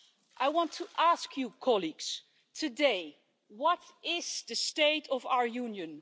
I want to ask you colleagues today what is the state of our Union?